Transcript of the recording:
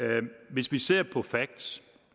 hvis vi ser på facts